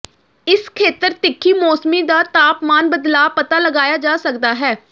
ਇਸ ਖੇਤਰ ਤਿੱਖੀ ਮੌਸਮੀ ਦਾ ਤਾਪਮਾਨ ਬਦਲਾਅ ਪਤਾ ਲਗਾਇਆ ਜਾ ਸਕਦਾ ਹੈ